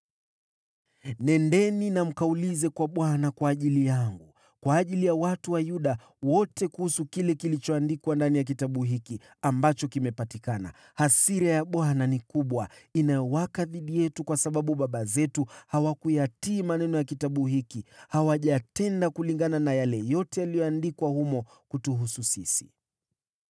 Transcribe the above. “Nendeni mkamuulize Bwana kwa ajili yangu, na kwa ajili ya watu na Yuda wote kuhusu yale yaliyoandikwa ndani ya kitabu hiki ambacho kimepatikana. Hasira ya Bwana ni kubwa inayowaka dhidi yetu kwa sababu baba zetu hawakuyatii maneno ya kitabu hiki. Hawajatenda kulingana na yale yote yaliyoandikwa humo kutuhusu sisi.”